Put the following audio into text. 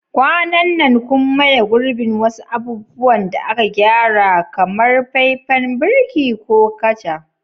Kwanan nan kun maye gurbin wasu abubuwan da aka gyara, kamar faifan birki ko kaca?